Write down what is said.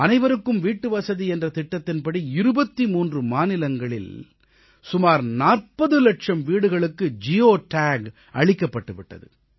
அனைவருக்கும் வீட்டுவசதி என்ற திட்டத்தின்படி 23 மாநிலங்களில் சுமார் 40 இலட்சம் வீடுகளுக்கு ஜியோ டேக் அளிக்கப்பட்டு விட்டது